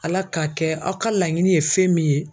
ALA k'a kɛ aw ka laɲini ye fɛn min ye.